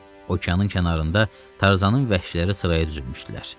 Okeanın kənarında Tarzanın vəhşiləri sıraya düzülmüşdülər.